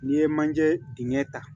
N'i ye manje dingɛ ta